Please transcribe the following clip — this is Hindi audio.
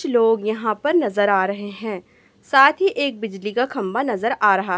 कुछ लोग यहां पर नजर आ रहें हैं साथ ही एक बिजली का खंबा नजर आ रहा--